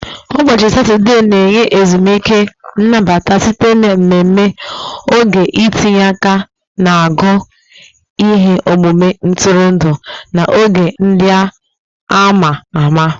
Saturdaybọchị Satọde na-enye ezumike nnabata site na mmemme, oge itinye aka na agụụ, ihe omume ntụrụndụ, na oge ndị a ma ama